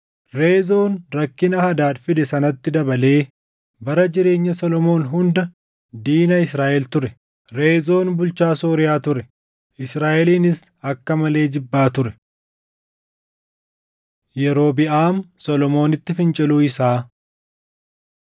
Reezoon rakkina Hadaad fide sanatti dabalee bara jireenya Solomoon hunda diina Israaʼel ture. Reezoon bulchaa Sooriyaa ture; Israaʼelinis akka malee jibbaa ture. Yerobiʼaam Solomoonitti Finciluu Isaa